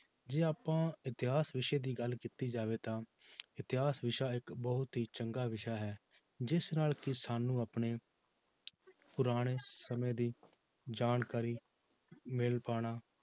ਜੇ ਆਪਾਂ ਇਤਿਹਾਸ ਵਿਸ਼ੇ ਦੀ ਗੱਲ ਕੀਤੀ ਜਾਵੇ ਤਾਂ ਇਤਿਹਾਸ ਵਿਸ਼ਾ ਇੱਕ ਬਹੁਤ ਹੀ ਚੰਗਾ ਵਿਸ਼ਾ ਹੈ ਜਿਸ ਨਾਲ ਕਿ ਸਾਨੂੰ ਆਪਣੇ ਪੁਰਾਣੇ ਸਮੇਂ ਦੀ ਜਾਣਕਾਰੀ ਮਿਲ ਪਾਉਣਾ